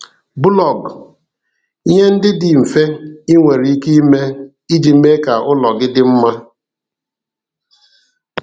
Bụlọg: Ihe ndị dị mfe i nwere ike ime iji mee ka ụlọ gị dị mma.